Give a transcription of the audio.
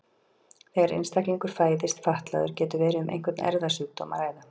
þegar einstaklingur fæðist fatlaður getur verið um einhvern erfðasjúkdóm að ræða